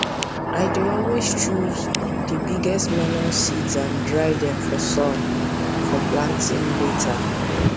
i dey always choose the biggest melon seeds and dry them for sun for planting later